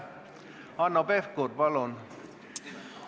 Hanno Pevkur, palun!